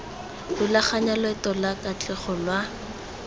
rulaganya loeto lwa katlego lwa